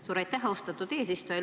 Suur aitäh, austatud eesistuja!